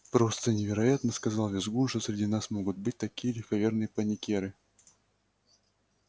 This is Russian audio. просто невероятно сказал визгун что среди нас могут быть такие легковерные паникёры